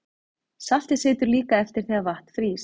Saltið situr líka eftir þegar vatn frýs.